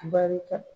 Barika